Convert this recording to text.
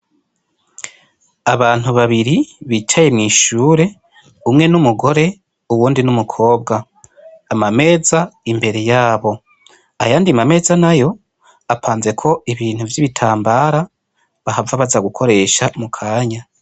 Abantu babiri bicaye mw'ishure umwe n'umugore uwundi n'umukobwa amameza imbere y'abo ayandi ma meza nayo apanzeko ibintu vy'ibitambara bahava baza gukoresha mu kanya.